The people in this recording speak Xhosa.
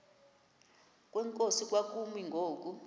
kwenkosi kwakumi ngoku